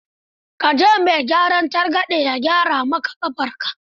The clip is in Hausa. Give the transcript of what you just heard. Ka je mai gyaran targaɗe ya gyara ma ƙafarka.